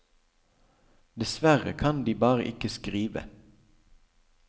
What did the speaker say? Dessverre kan de bare ikke skrive.